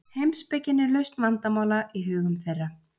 Heimspekin er lausn vandamála í hugum þeirra.